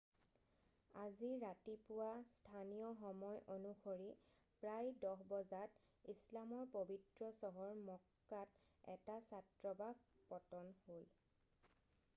আজি ৰাতিপুৱা স্থানীয় সময় অনুসৰি প্ৰায় 10 বজাত ইছলামৰ পৱিত্ৰ চহৰ মক্কাত এটা ছাত্ৰবাস পতন হ'ল